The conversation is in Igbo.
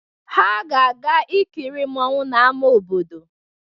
Ha ga-aga ikiri mmọnwụ n'ama obodo.